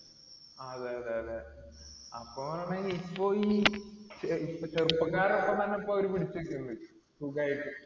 ആ അതെയതെയതെ. അപ്പൊ ഇപ്പോയി ചെറുപ്പക്കാരുടെ ഒപ്പം തന്നെ ഇപ്പൊ അവർ പിടിച്ചു നിക്കുന്നുണ്ട്. സുഖായിട്ട്.